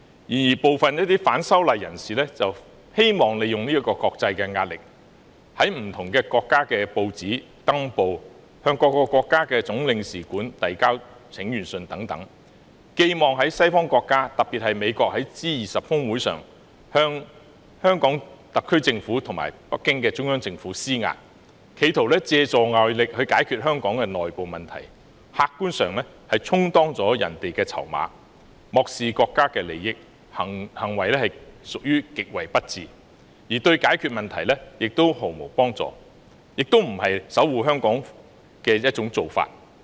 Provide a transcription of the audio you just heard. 然而，部分反修例人士希望利用國際壓力，例如於不同國家的報章刊登廣告、向各國總領事館遞交請願信等，寄望西方國家，特別是美國在 G20 峰會上向香港特區政府及北京中央政府施壓，企圖借助外力解決香港的內部問題，客觀上是充當了別國的籌碼，漠視國家利益，行為實屬極為不智，對解決問題毫無幫助，亦非守護香港的做法。